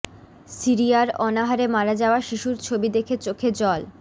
সিরিয়ার অনাহারে মারা যাওয়া শিশুর ছবি দেখে চোখে জল